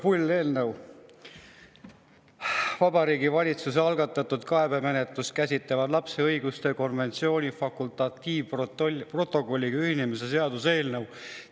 Jube pull eelnõu: Vabariigi Valitsuse algatatud kaebemenetlust käsitleva lapse õiguste konventsiooni fakultatiivprotokolliga ühinemise seaduse eelnõu.